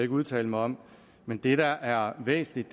udtale mig om men det der er væsentligt